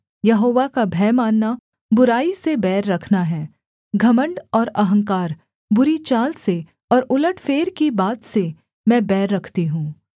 यहोवा का भय मानना बुराई से बैर रखना है घमण्ड और अहंकार बुरी चाल से और उलटफेर की बात से मैं बैर रखती हूँ